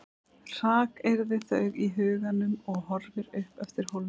Hrakyrðir þau í huganum og horfir upp eftir hólnum.